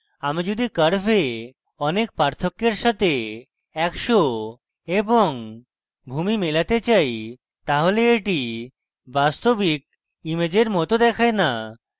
আমি যদি curves অনেক পার্থক্য এর সাথে একশ এবং ভূমি মেলাতে চাই তাহলে এটি বাস্তবিক ইমেজের মত দেখায় না